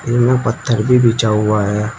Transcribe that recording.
इनमें पत्थर भी बिछा हुआ है।